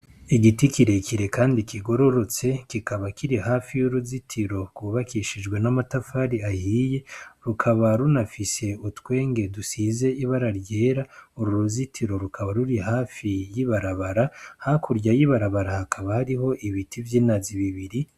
Igiti kirerekire kandi kigororotse kikaba kiri hafi yuruzitiro rwubakishijwe n'amatafari ahiye rukaba runafise utwenge dusize ibara ryera uru ruzitiro rukaba ruri hafi y'ibarabara hakurya y'ibarabara hakaba hariho ibiti vyinazi bibiri.